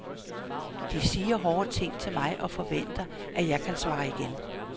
De siger hårde ting til mig og forventer, at jeg kan svare igen.